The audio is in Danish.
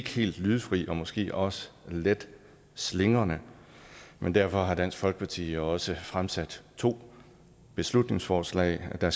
helt lydefri og måske også let slingrende men derfor har dansk folkeparti jo også fremsat to beslutningsforslag der